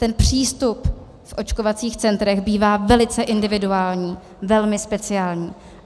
Ten přístup v očkovacích centrech bývá velice individuální, velmi speciální.